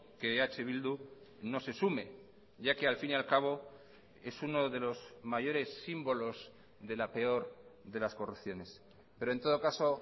que eh bildu no se sume ya que al fin y al cabo es uno de los mayores símbolos de la peor de las corrupciones pero en todo caso